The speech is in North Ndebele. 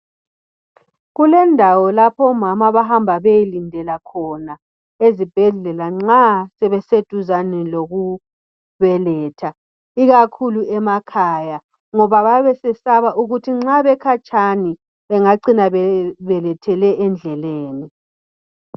Kulendawo lapho omama abahamba beyelindela khona nxa sebeseduze lokubeletha ikakhulu emakhaya ngoba bayabe besesaba ukuthi nxa bekhatshana bengacina bebelethele endleleni